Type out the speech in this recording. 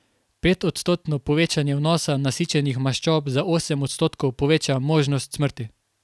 Petodstotno povečanje vnosa nasičenih maščob za osem odstotkov poveča možnost smrti.